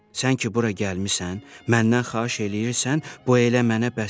Sən ki bura gəlmisən, məndən xahiş eləyirsən, bu elə mənə bəsdir.